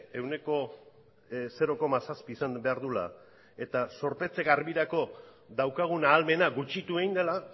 ehuneko zero koma zazpi izan behar duela eta zorpetze garbirako daukagun ahalmena gutxitu egin dela